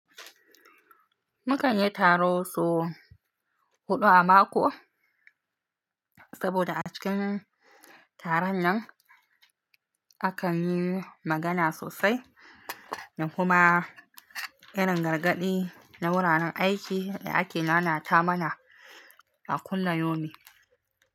Mukan yi taro sau huɗu a mako, saboda a cikin taron nan akan yi magana sosai, da kuma irin gargaɗi na wuraren aiki da ake nanata mana a kulla yomi.